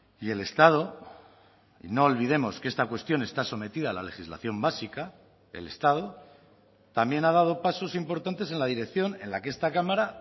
y el estado y no olvidemos que esta cuestión está sometida a la legislación básica el estado también ha dado pasos importantes en la dirección en la que esta cámara